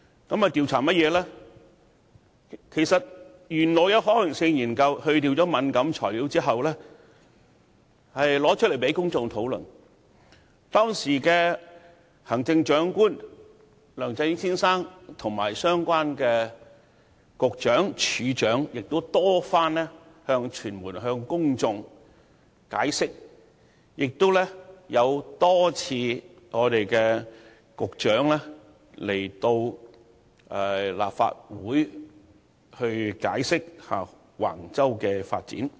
事實上，當局稍後已在刪去敏感資料後，將相關可行性研究提出來讓公眾討論，當時的行政長官梁振英先生和相關的局長、署長，已向傳媒和公眾多番解釋，而局長亦多次前來立法會解釋橫洲的發展計劃。